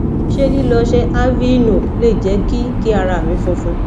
ṣé lilo ose aveeno le je ki kí ara mi funfun